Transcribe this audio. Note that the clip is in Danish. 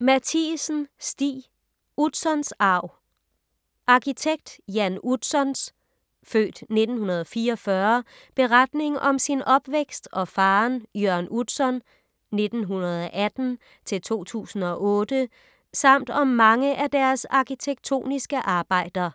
Matthiesen, Stig: Utzons arv Arkitekt Jan Utzons (f. 1944) beretning om sin opvækst og faderen Jørn Utzon (1918-2008) samt om mange af deres arkitektoniske arbejder.